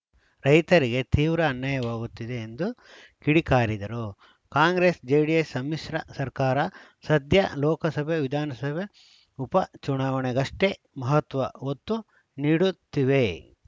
ರೈತರಿಗೆ ತೀವ್ರ ಅನ್ಯಾಯವಾಗುತ್ತಿದೆ ಎಂದು ಕಿಡಿಕಾರಿದರು ಕಾಂಗ್ರೆಸ್‌ಜೆಡಿಎಸ್‌ ಸಮ್ಮಿಶ್ರ ಸರ್ಕಾರ ಸದ್ಯ ಲೋಕಸಭೆ ವಿಧಾನಸಭೆ ಉಪ ಚುನಾವಣೆಗಷ್ಟೇ ಮಹತ್ವ ಒತ್ತು ನೀಡುತ್ತಿವೆ